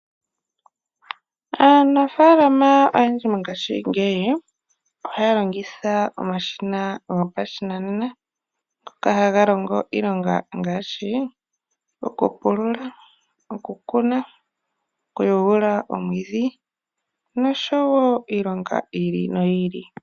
Aanafaalama oyendji mongashingeyi ohaya longitha omashina gopashinanena ngoka haga longo iilonga ngaashi okupulula, okukuna , okuyuula omwiidhi noshowoo iilonga yiili noyiili.